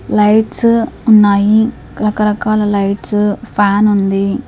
Lights ఉన్నాయి రకరకాల lights ఫ్యానుంది .